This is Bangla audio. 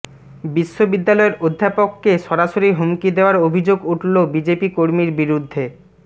বিশ্ববিদ্যালয়ের অধ্যাপককে সরাসরি হুমকি দেওয়ার অভিযোগ উঠল বিজেপি কর্মীর বিরুদ্ধে